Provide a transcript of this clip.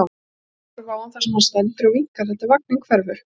Og ég horfi á hann þar sem hann stendur og vinkar þar til vagninn hverfur.